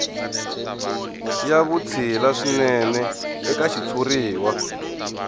ya vutshila swinene eka xitshuriwa